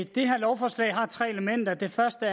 det her lovforslag har tre elementer det første